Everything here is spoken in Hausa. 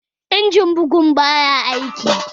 Injimin bugun baya aiki